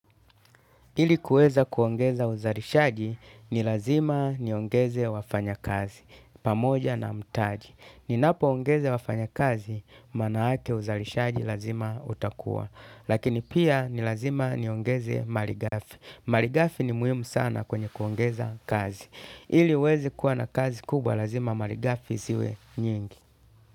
Ili kueza kuongeza uzalishaji ni lazima niongeze wafanya kazi, pamoja na mtaji. Ni napo ongeze wafanya kazi, manaake uzalishaji lazima utakuwa. Lakini pia nilazima niongeze maligafi. Maligafi ni muhimu sana kwenye kuongeza kazi. Ili uweze kuwa na kazi kubwa lazima maligafi ziwe nyingi.